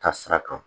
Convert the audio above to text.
Taa sira kan